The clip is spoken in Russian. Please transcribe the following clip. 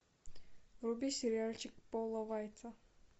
вруби сериальчик пола вайца